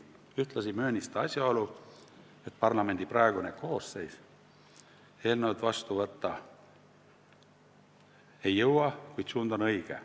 Ühtlasi möönis ta asjaolu, et parlamendi praegune koosseis eelnõu seadusena vastu võtta ei jõua, kuid suund on õige.